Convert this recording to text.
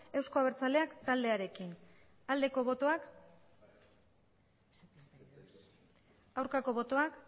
euzko abertzaleak taldearekin aldeko botoak aurkako botoak